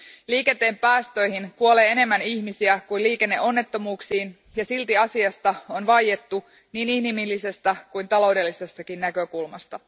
Liikenteen päästöihin kuolee enemmän ihmisiä kuin liikenneonnettomuuksiin, ja silti asiasta on vaiettu niin inhimillisestä kuin taloudellisestakin näkökulmasta.